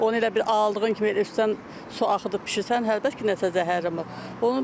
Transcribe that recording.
Onu elə bil aldığın kimi elə üstdən su axıdıb bişirsən, hə, heç bir nəsə zəhərlənmə olmur.